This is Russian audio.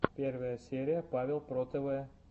первая серия павел про тв